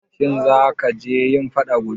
Shin zaka je yin faɗa gobe?